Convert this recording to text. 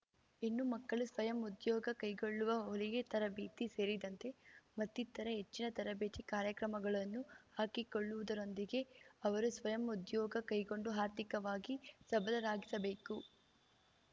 ಹೆಣ್ಣು ಮಕ್ಕಳು ಸ್ವಯಂ ಉದ್ಯೋಗ ಕೈಗೊಳ್ಳುವ ಹೊಲಿಗೆ ತರಬೇತಿ ಸೇರಿದಂತೆ ಮತ್ತಿತರೆ ಹೆಚ್ಚಿನ ತರಬೇತಿ ಕಾರ್ಯಕ್ರಮಗಳನ್ನು ಹಾಕಿಕೊಳ್ಳುವುದರೊಂದಿಗೆ ಅವರು ಸ್ವಯಂ ಉದ್ಯೋಗ ಕೈಗೊಂಡು ಆರ್ಥಿಕವಾಗಿ ಸಬಲರಾಗಿಸಬೇಕು